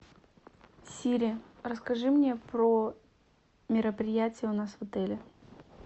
сири расскажи мне про мероприятия у нас в отеле